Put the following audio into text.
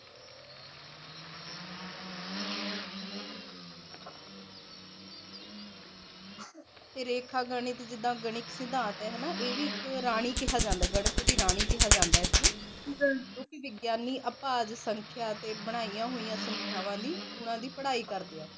ਰੇਖਾ ਗਣਿਤ ਜਿਦਾ ਗਣਿਤ ਸਿਧਾਤ ਆ ਨਾ ਇਹ ਵੀ ਇੱਕ ਰਾਣੀ ਕਿਹਾ ਜਾਂਦਾ ਗਣਿਤ ਦੀ ਰਾਣੀ ਕਿਹਾ ਜਾਂਦਾ ਇਸਨੂੰ ਬਣਾਈਆਂ ਹੋਈਆਂ ਸੰਖਿਆਵਾਂ ਦੀ ਉਹਨਾ ਦੀ